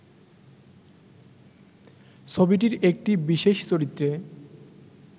ছবিটির একটি বিশেষ চরিত্রে